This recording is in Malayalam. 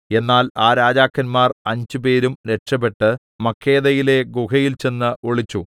എന്നാൽ ആ രാജാക്കന്മാർ അഞ്ചുപേരും രക്ഷപെട്ട് മക്കേദയിലെ ഗുഹയിൽ ചെന്ന് ഒളിച്ചു